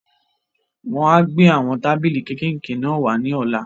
Wọ́n á gbé àwọn tábìlì kékèké náà wá ní ọ̀la.